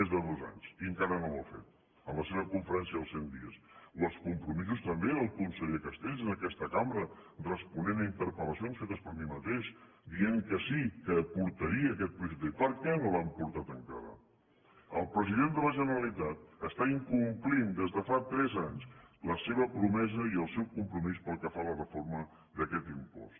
més de dos anys i encara no ho ha fet en la seva conferència dels cent dies o els compromisos també del conseller castells en aquesta cambra responent a interpel·lacions fetes per mi mateix dient que sí que portaria aquest projecte de llei per què no l’han portat encara el president de la generalitat està incomplint des de fa tres anys la seva promesa i el seu compromís pel que fa a la reforma d’aquest impost